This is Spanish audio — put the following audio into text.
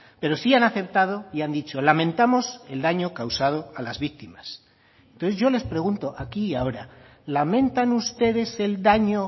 pero sí han aceptado y han dicho lamentamos el daño causado a las víctimas entonces yo les pregunto aquí y ahora lamentan ustedes el daño